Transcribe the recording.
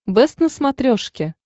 бэст на смотрешке